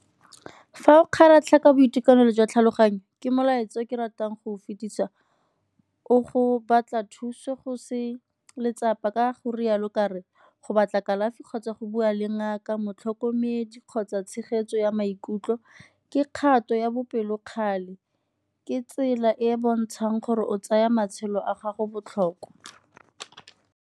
Fa o kgaratlha ka boitekanelo jwa tlhaloganyo ke molaetsa o ke ratang go fetisa, o go batla thuso go se letsapa ka go rialo ka re go batla kalafi kgotsa go bua le ngaka, motlhokomedi kgotsa tshegetso ya maikutlo ke kgato ya bopelokgale ke tsela e e bontshang gore o tsaya matshelo a gago botlhokwa.